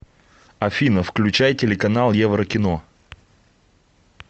афина включай телеканал еврокино